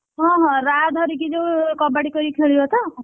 ହଁ ହଁ ରାହା ଧରିକି ଯୋଉ କବାଡି କହିକି ଖେଳିବ ତ?